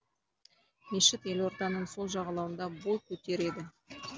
мешіт елорданың сол жағалауында бой көтереді